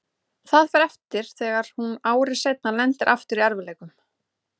Það fer eftir þegar hún ári seinna lendir aftur í erfiðleikum.